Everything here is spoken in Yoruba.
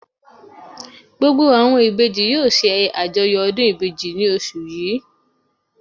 Gbogbo àwọn Ìbejì yóò se àjọyọ̀ ọdún Ìbejì ní osù yìí